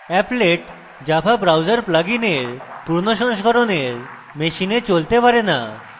applet java browser প্লাগইনের পুরোনো সংস্করনের machines চলতে পারে না